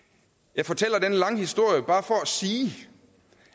jeg fortæller denne lange historie bare for at sige